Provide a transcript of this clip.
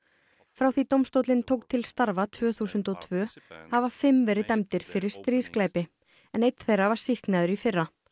frá því dómstóllinn tók til starfa tvö þúsund og tvö hafa fimm verið dæmdir fyrir stríðsglæpi en einn þeirra var sýknaður í fyrra